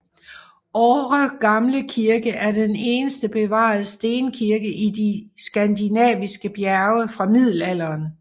Åre Gamle Kirke er den eneste bevarede stenkirke i de Skandinaviske bjerge fra Middelalderen